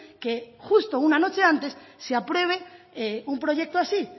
que justo una noche antes se apruebe un proyecto así